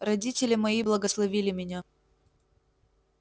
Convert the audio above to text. родители мои благословили меня